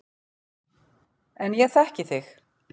En ég þekki þig.